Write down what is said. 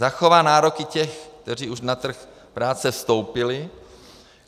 Zachová nároky těch, kteří už na trh práce vstoupili.